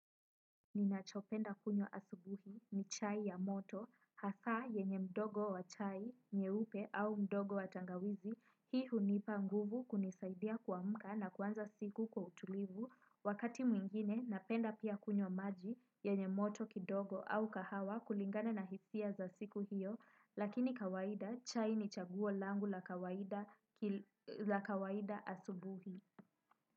Ninachopenda kunywa asubuhi ni chai ya moto, hasaa yenye mdogo wa chai, nye upe au mdogo wa tangawizi, hii hunipa nguvu kunisaidia kuamka na kuanza siku kwa utulivu, wakati mwingine napenda pia kunywa maji yenye moto kidogo au kahawa kulingana na hisia za siku hiyo, lakini kawaida chai ni chaguolangu la kawaida la kawaida asubuhi.